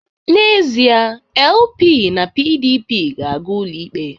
N'ezie, LP na PDP ga-aga ụlọikpe